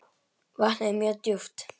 Vatnið er mjög djúpt.